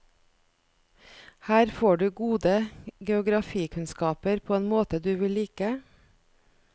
Her får du gode geografikunnskaper på en måte du vil like.